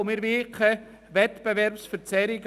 Wir wollen keine Wettbewerbsverzerrungen.